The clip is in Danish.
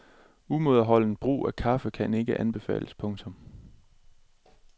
Umådeholdent forbrug af kaffe kan ikke anbefales. punktum